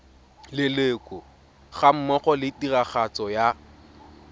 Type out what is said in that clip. leloko gammogo le tiragatso ya